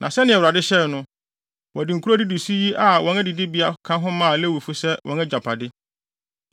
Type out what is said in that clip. Na sɛnea Awurade hyɛe no, wɔde nkurow a edidi so yi a wɔn adidibea ka ho maa Lewifo sɛ wɔn agyapade.